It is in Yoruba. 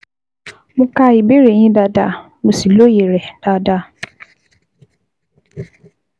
Mo ka ìbéèrè yín dáadáa, mo sì lóye rẹ̀ dáadáa